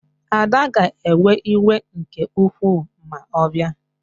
Ada ga-ewe iwe nke ukwuu ma ọ bịa